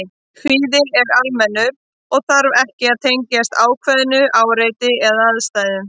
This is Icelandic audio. Kvíði er almennur og þarf ekki að tengjast ákveðnu áreiti eða aðstæðum.